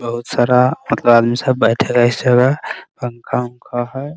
बहुत सारा मतलब आदमी सब बेठेगा इस जगह पंखा उंखा है।